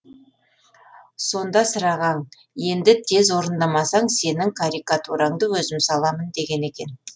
сонда сырағаң енді тез орындамасаң сенің карикатураңды өзім саламын деген екен